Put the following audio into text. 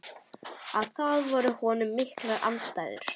Að það voru í honum miklar andstæður.